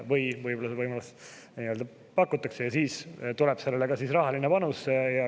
Kui seda võimalust pakutakse, siis tuleb sellele ka rahaline panus.